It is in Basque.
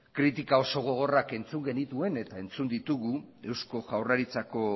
kritika oso gogorrak entzun genituen eta entzun ditugu eusko jaurlaritzako